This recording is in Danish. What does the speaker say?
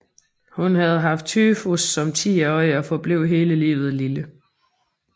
Hun havde haft tyfus som tiårig og forblev hele livet lille